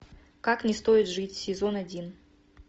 как не стоит жить сезон один